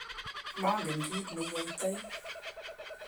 manget kiit ne iyoitoi